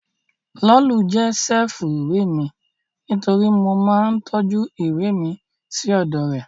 Lolú jẹ́ ṣẹ́ẹ̀fù ìwé mi nítorí mo máa ń tọ́jú ìwé mi sí ọ̀dọ̀ rẹ̀